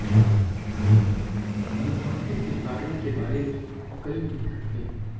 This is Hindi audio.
मुँहासे के कारण के बारे में कई मिथक हैं